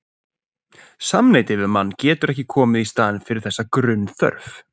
Samneyti við menn getur ekki komið í staðinn fyrir þessa grunnþörf.